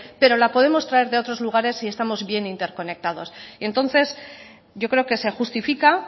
pero la podemos traer de otros lugares si estamos bien interconectados y entonces yo creo que se justifica